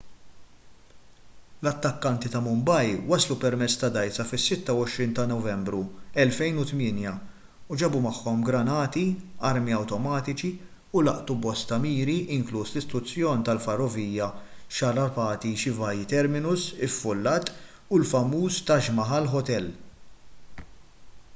l-attakkanti ta' mumbai waslu permezz ta' dgħajsa fis-26 ta' novembru 2008 u ġabu magħhom granati armi awtomatiċi u laqtu bosta miri inkluż l-istazzjon tal-ferrovija chhatrapati shivaji terminus iffullat u l-famuż taj mahal hotel